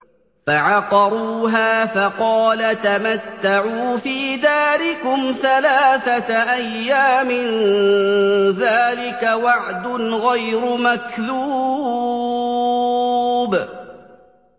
فَعَقَرُوهَا فَقَالَ تَمَتَّعُوا فِي دَارِكُمْ ثَلَاثَةَ أَيَّامٍ ۖ ذَٰلِكَ وَعْدٌ غَيْرُ مَكْذُوبٍ